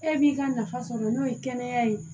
E b'i ka nafa sɔrɔ n'o ye kɛnɛya ye